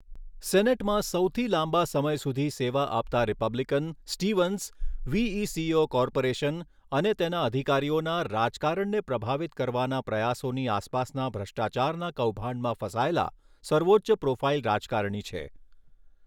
સેનેટમાં સૌથી લાંબા સમય સુધી સેવા આપતા રિપબ્લિકન, સ્ટીવન્સ વીઈસીઓ કોર્પોરેશન અને તેના અધિકારીઓના રાજકારણને પ્રભાવિત કરવાના પ્રયાસોની આસપાસના ભ્રષ્ટાચારના કૌભાંડમાં ફસાયેલા સર્વોચ્ચ પ્રોફાઇલ રાજકારણી છે.